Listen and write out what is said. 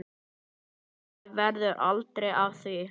Vonandi verður aldrei af því.